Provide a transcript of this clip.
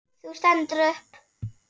Þú stendur upp.